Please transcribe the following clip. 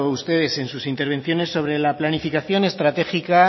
ustedes en sus intervenciones sobre la planificación estratégica